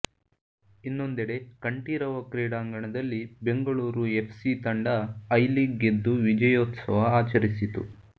ಇನ್ನೊಂದೆಡೆ ಕಂಠೀರವ ಕ್ರೀಡಾಂಗಣದಲ್ಲಿ Bengaluru F C ತಂದ ಐ ಲೀಗ್ ಗೆದ್ದು ವಿಜಯೋತ್ಸವ ಆಚರಿಸಿತು